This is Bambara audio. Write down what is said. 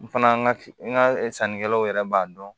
N fana ka n ka sannikɛlaw yɛrɛ b'a dɔn